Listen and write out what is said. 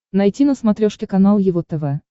найти на смотрешке канал его тв